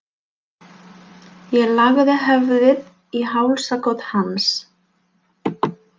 Ég lagði höfuðið í hálsakot hans.